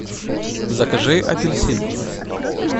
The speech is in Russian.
закажи апельсины